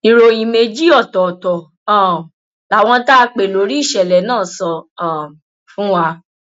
ìròyìn méjì ọtọọtọ um làwọn tá a pè lórí ìṣẹlẹ náà sọ um fún wa